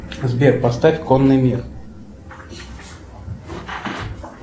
сбер поставь конный мир